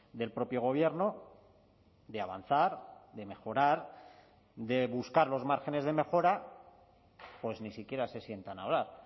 del propio gobierno de avanzar de mejorar de buscar los márgenes de mejora pues ni siquiera se sientan a hablar